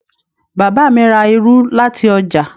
Bàbá mi ra irú láti ọjà.